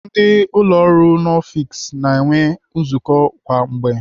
Ndị ụlọ ọrụ n'ọfiks na-eme nzukọ kwa mgbe.